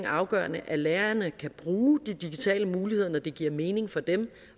afgørende at lærerne kan bruge de digitale muligheder når det giver mening for dem